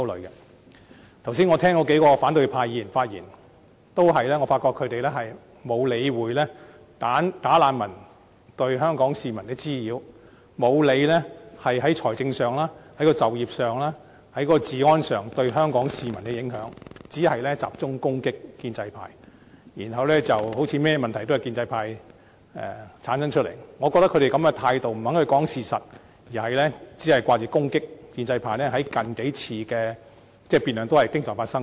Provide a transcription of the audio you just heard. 我剛才聆聽數位反對派議員的發言，發覺他們均沒有理會"假難民"對香港市民造成的滋擾，沒有理會他們在財政上、就業及治安方面，對香港市民的影響，只是集中攻擊建制派，彷彿甚麼問題皆由建制派製造出來，我覺得他們這個態度是不肯說事實，只管攻擊建制派，在近數次的辯論均經常發生這種情況。